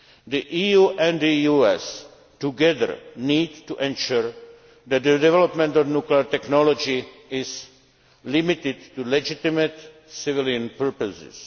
nuclear area. The EU and the US together need to ensure that the development of nuclear technology is limited to legitimate, civilian